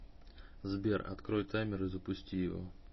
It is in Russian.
сбер открой таймер и запусти его